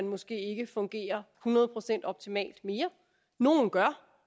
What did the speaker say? måske ikke fungerer optimalt mere nogle gør